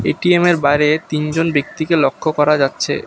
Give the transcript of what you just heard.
এটিএমের বাইরে তিনজন ব্যক্তিকে লক্ষ্য করা যাচ্ছে।